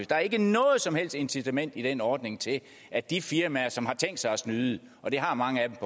der er ikke noget som helst incitament i den ordning til at de firmaer som har tænkt sig at snyde og det har mange